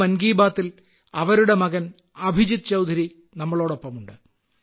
ഇന്ന് മൻ കീ ബാത്തിൽ അവരുടെ മകൻ അഭിജിത്ത് നമ്മോടൊപ്പമുണ്ട്